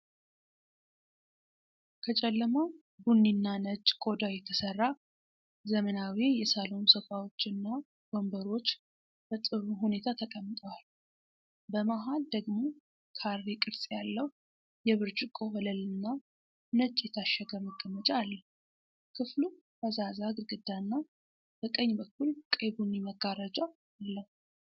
ከጨለማ ቡኒና ነጭ ቆዳ የተሠሩ ዘመናዊ የሳሎን ሶፋዎችና ወንበሮች በጥሩ ሁኔታ ተቀምጠዋል። በመሃል ደግሞ ካሬ ቅርጽ ያለው፣ የብርጭቆ ወለልና ነጭ የታሸገ መቀመጫ አለው። ክፍሉ ፈዛዛ ግድግዳና በቀኝ በኩል ቀይ ቡኒ መጋረጃ አለው።